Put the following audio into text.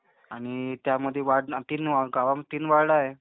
आणि त्यामध्ये वार्ड... गावामध्ये तीन वार्ड आहे.